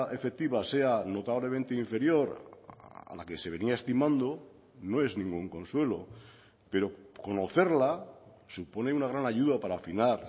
efectiva sea notablemente inferior a la que se venía estimando no es ningún consuelo pero conocerla supone una gran ayuda para afinar